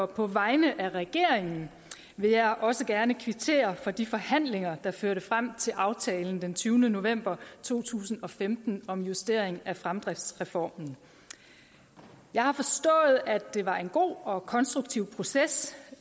på vegne af regeringen vil jeg også gerne kvittere for de forhandlinger der førte frem til aftalen den tyvende november to tusind og femten om justering af fremdriftsreformen jeg har forstået at det var en god og konstruktiv proces